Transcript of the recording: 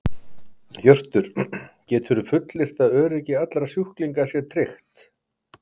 Hjörtur: Geturðu fullyrt að öryggi allra sjúklinga sé tryggt?